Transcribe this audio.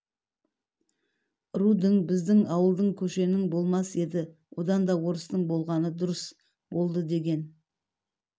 рудың біздің ауылдың көшенің болмас еді одан да орыстың болғаны дұрыс болды деген